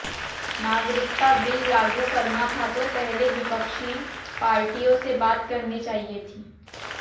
नागरिकता बिल लागू करना था तो पहले विपक्षी पार्टियों से बात करनी चाहिए थी